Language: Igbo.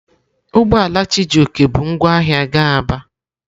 Ugbo ala Chijioke bu ngwa ahia ga Aba.